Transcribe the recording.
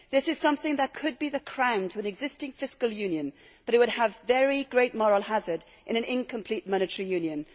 This is something that could be the crown to an existing fiscal union, but it would have very great moral hazard in an incomplete monetary union.